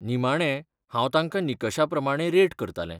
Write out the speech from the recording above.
निमाणें, हांव तांकां निकशा प्रमाणें रेट करतालें.